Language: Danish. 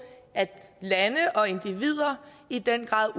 at lande og individer i den grad